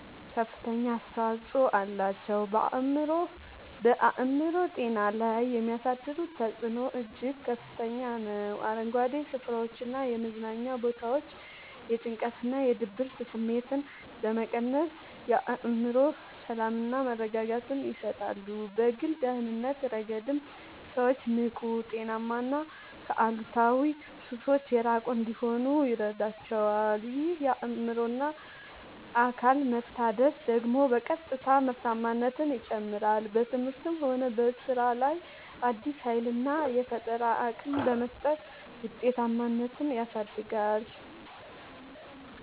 ከፍተኛ አስተዋጽኦ አላቸው። በአእምሮ ጤና ላይ የሚያሳድሩት ተጽዕኖ እጅግ ከፍተኛ ነው፤ አረንጓዴ ስፍራዎችና የመዝናኛ ቦታዎች የጭንቀትና የድብርት ስሜትን በመቀነስ የአእምሮ ሰላምና መረጋጋትን ይሰጣሉ። በግል ደህንነት ረገድም ሰዎች ንቁ: ጤናማና ከአሉታዊ ሱሶች የራቁ እንዲሆኑ ይረዳቸዋል። ይህ የአእምሮና አካል መታደስ ደግሞ በቀጥታ ምርታማነትን ይጨምራል: በትምህርትም ሆነ በሥራ ላይ አዲስ ኃይልና የፈጠራ አቅም በመስጠት ውጤታማነትን ያሳድጋል።